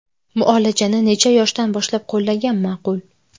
Muolajani necha yoshdan boshlab qo‘llagan ma’qul?